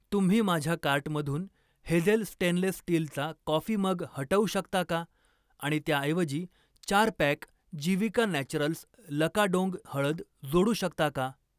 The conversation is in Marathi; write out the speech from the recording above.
तुम्ही माझ्या कार्टमधून हेझेल स्टेनलेस स्टीलचा कॉफी मग हटवू शकता का आणि त्याऐवजी चार पॅक जीविका नॅचरल्स लकाडोंग हळद जोडू शकता का?